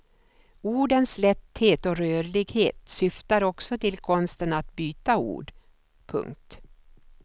Ordens lätthet och rörlighet syftar också till konsten att byta ord. punkt